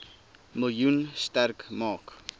miljoen sterk maak